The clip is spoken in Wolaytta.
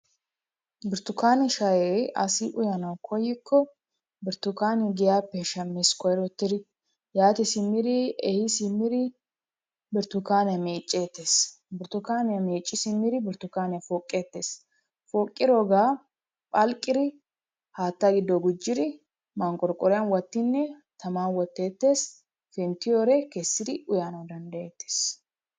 Burttukaane shayee asi uyanawu koyikko burttukaaniya giyappe shammees koyrittidi. Yaati simmiri ehi simmiri burttukaaniya meecceettees. Burttukaaniya meecci simmiri burttukaaniya poqqeettees. Poqqiroogaa phalqqiri haatta giddo gujjidi manqqorqqoriyan wottinne taman wotteettees, penttiyore kessiri uyanawu danddayettees.